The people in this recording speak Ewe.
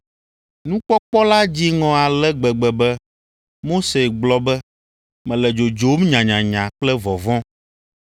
Nukpɔkpɔ la dzi ŋɔ ale gbegbe be Mose gblɔ be, “Mele dzodzom nyanyanya kple vɔvɔ̃.”